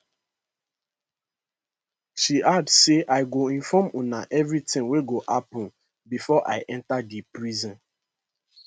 she add say i go inform una everitin wey go happun bifor i enta di prison